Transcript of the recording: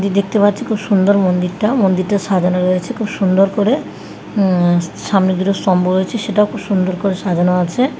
এই দেখতে পাচ্ছি খুব সুন্দর মন্দিরটা মন্দিরটা সাজানো রয়েছে খুব সুন্দর করে উম সামনে দুটো স্তম্ভ রয়েছে সেটাও খুব সুন্দর করে সাজানো আছে।